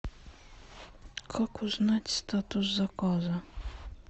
как узнать статус заказа